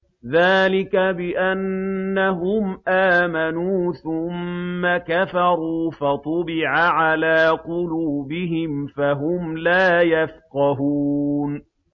ذَٰلِكَ بِأَنَّهُمْ آمَنُوا ثُمَّ كَفَرُوا فَطُبِعَ عَلَىٰ قُلُوبِهِمْ فَهُمْ لَا يَفْقَهُونَ